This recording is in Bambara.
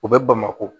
U bɛ bamakɔ